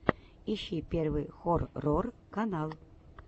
ищи первый хоррор канал